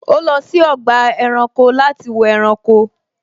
Ó lọ sí ọgbà ẹranko láti wo ẹranko